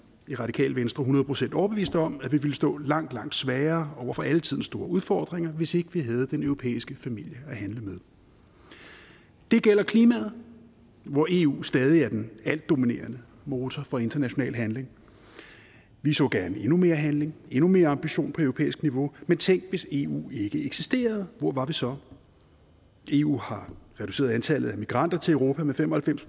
i radikale venstre hundrede procent overbevist om at vi ville stå langt langt svagere over for alle tidens store udfordringer hvis ikke vi havde den europæiske familie at handle med det gælder klimaet hvor eu stadig er den helt dominerende motor for international handling vi så gerne endnu mere handling endnu mere ambition på europæisk niveau men tænk hvis eu ikke eksisterede hvor var vi så eu har reduceret antallet af migranter til europa med fem og halvfems